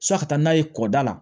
San ka taa n'a ye kɔda la